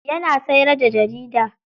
Yana siyar da jarida.